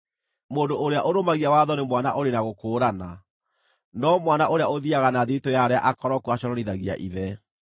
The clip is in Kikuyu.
Mũndũ ũrĩa ũrũmagia watho nĩ mwana ũrĩ na gũkũũrana, no mwana ũrĩa ũthiiaga na thiritũ ya arĩa akoroku aconorithagia ithe.